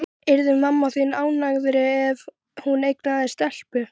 Breki: Ert þú búinn að ákveða þig varðandi formannskjörið?